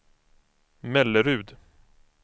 Mellerud